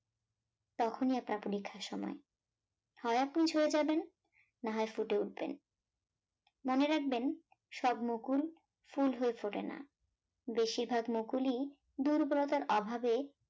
তখনই আপনার পরীক্ষার সময়, হয় আপনি ঝরে যাবেন, না হয় ফুটে উঠবেন মনে রাখবেন সব মুকুল ফুল হয়ে ফোটে না, বেশিরভাগ মুকুলই দুর্বলতার অভাবে